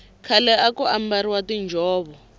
khale aku ambariwa tinjhovo